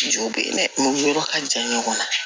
Juw be yen dɛ yɔrɔ ka jan ɲɔgɔn na